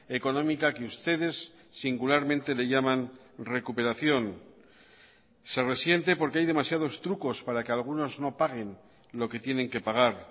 económica que ustedes singularmente le llaman recuperación se resiente porque hay demasiados trucos para que algunos no paguen lo que tienen que pagar